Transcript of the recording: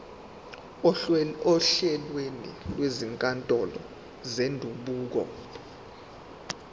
ohlelweni lwezinkantolo zendabuko